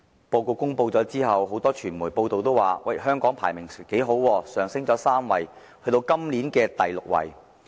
報告公布後，很多傳媒報道指香港排名不錯，上升3位至今年的第六位。